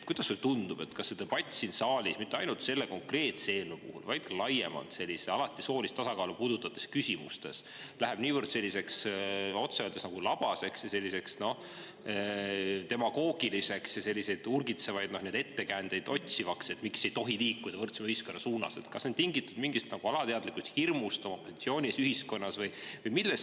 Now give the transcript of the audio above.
Kuidas sulle tundub, kas see, et see debatt siin saalis, mitte ainult selle konkreetse eelnõu puhul, vaid ka laiemalt soolist tasakaalu puudutavates küsimustes, läheb niivõrd, otse öeldes, labaseks, demagoogiliseks, urgitsevaid ettekäändeid otsivaks, et miks ei tohi liikuda võrdsema ühiskonna suunas, on tingitud mingist alateadlikust hirmust oma positsiooni pärast ühiskonnas?